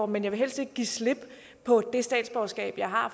men jeg vil helst ikke give slip på det statsborgerskab jeg har